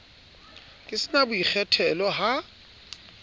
ke sa na boikgethelo ha